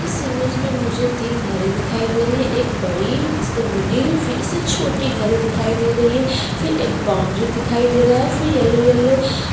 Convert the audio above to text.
इस इमेज में मुझे तीन घरें दिखाई दे रही है एक बड़ी इससे मिडिल फिर इससे छोटी घरे दिखाई दे रही है फिर एक बॉउंड्री दिखाई दे रही है फिर यलो-यलो --